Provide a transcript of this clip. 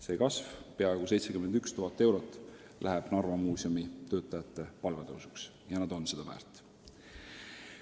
See kasv, peaaegu 71 000 eurot, läheb Narva Muuseumi töötajate palga tõusuks ja nad on seda väärt.